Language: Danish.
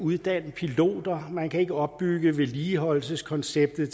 uddanne piloter man kan ikke opbygge vedligeholdelseskonceptet